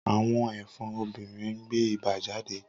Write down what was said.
Awọn ẹfọn obinrin n gbe iba jade.